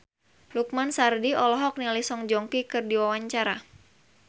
Lukman Sardi olohok ningali Song Joong Ki keur diwawancara